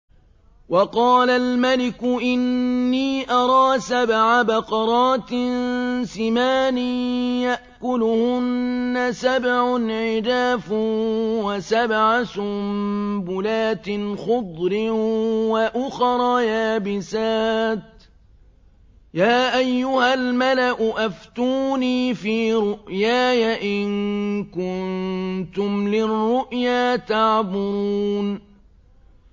وَقَالَ الْمَلِكُ إِنِّي أَرَىٰ سَبْعَ بَقَرَاتٍ سِمَانٍ يَأْكُلُهُنَّ سَبْعٌ عِجَافٌ وَسَبْعَ سُنبُلَاتٍ خُضْرٍ وَأُخَرَ يَابِسَاتٍ ۖ يَا أَيُّهَا الْمَلَأُ أَفْتُونِي فِي رُؤْيَايَ إِن كُنتُمْ لِلرُّؤْيَا تَعْبُرُونَ